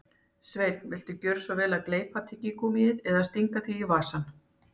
Sveinn, viltu gjöra svo vel að gleypa tyggigúmmíið eða stinga því í vasann